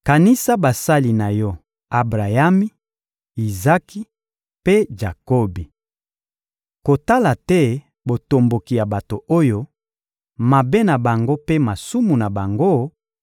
Kanisa basali na Yo Abrayami, Izaki mpe Jakobi! Kotala te botomboki ya bato oyo, mabe na bango mpe masumu na bango;